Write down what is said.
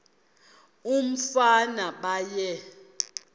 umfana baye bee